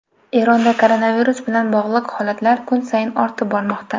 Eronda koronavirus bilan bog‘liq holatlar kun sayin ortib bormoqda.